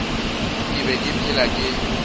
ke be ke phela ke